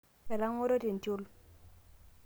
etangoro tentiol